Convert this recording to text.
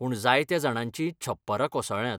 पूण जायत्या जाणांची छप्परां कोसळ्ळ्यांत.